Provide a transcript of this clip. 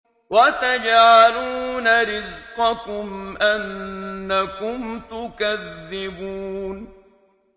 وَتَجْعَلُونَ رِزْقَكُمْ أَنَّكُمْ تُكَذِّبُونَ